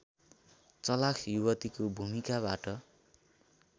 चलाख युवतीको भूमिकाबाट